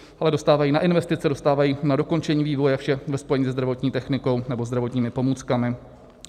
Ale dostávají na investice, dostávají na dokončení vývoje, vše ve spojení se zdravotní technikou nebo zdravotními pomůckami.